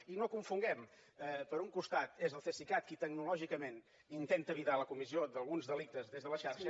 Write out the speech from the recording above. i no ho confonguem per un costat és el cesicat qui tecnològicament intenta evitar la comissió d’alguns delictes des de la xarxa